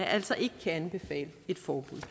altså ikke kan anbefale et forbud